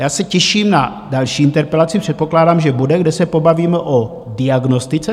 Já se těším na další interpelaci, předpokládám, že bude, teď se pobavíme o diagnostice.